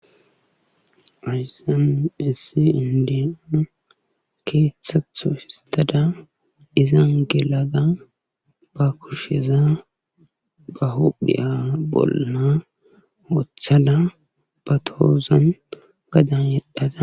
Hayssn issi inddiya keeththa gidon histada izan gelada ba kusheza ba huuphiya bolla wothada ba tohozan gadan yedhada